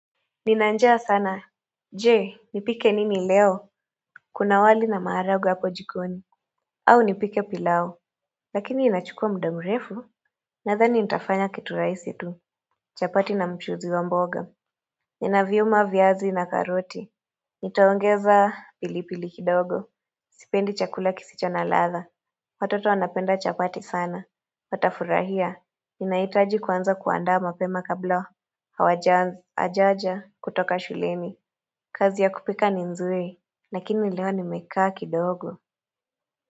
Nina njaa sana Je nipike nini leo Kuna wali na maharagwe hapo jikoni au nipike pilau Lakini inachukua muda mrefu Nadhani nitafanya kitu rahisi tu chapati na mchuzi wa mboga Nina viuma viazi na karoti Nitaongeza pili pili kidogo Sipendi chakula kisicho na ladha Watoto wanapenda chapati sana Watafurahia Ninahitaji kuanza kuandaa mapema kabla Hawajaja kutoka shuleni kazi ya kupika ni nzuri, lakini leo nimekaa kidogo.